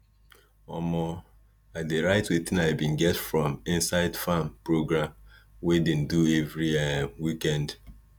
um i dey write wetin i bin get from inside farm program wey dem do everi um weekend